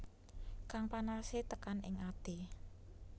Kang panase tekan ing ati